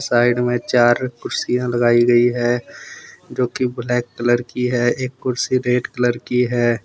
Side में चार कुर्सियाँ लगाई गई है जो की ब्लैक कलर की है एक कुर्सी रेड कलर की है।